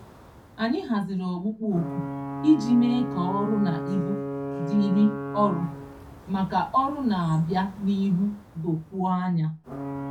Anyị haziri ọkpụkpọoku iji mee ka ọrụ na ibu dịịrị ọrụ maka ọrụ na-abịa n'ihu dokwuo anya.